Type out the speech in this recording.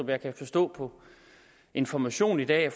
jeg kan forstå på information i dag at